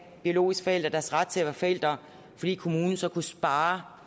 biologiske forældre deres ret til at være forældre fordi kommunen så kunne spare